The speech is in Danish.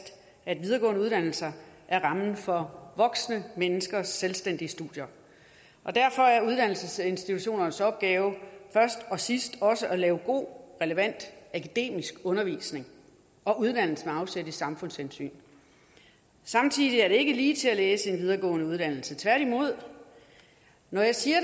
at videregående uddannelser er rammen for voksne menneskers selvstændige studier og derfor er uddannelsesinstitutionernes opgave først og sidst også at lave god relevant akademisk undervisning og uddannelse med afsæt i samfundshensyn samtidig er det ikke ligetil at læse en videregående uddannelse tværtimod når jeg siger